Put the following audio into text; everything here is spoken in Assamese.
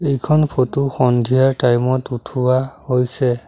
এইখন ফটো সন্ধিয়াৰ টাইম ত উঠোৱা হৈছে।